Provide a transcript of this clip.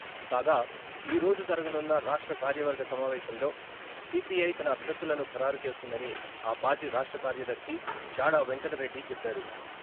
కాగా, ఈరోజు జరగనున్న రాష్ట్ర కార్యవర్గ సమావేశంలో సిపిఐ తన అభ్యర్ధులను ఖరారు చేస్తుందని ఆ పార్టీ రాష్ట్ర కార్యదర్శి చాడా వెంకటరెడ్డి చెప్పారు.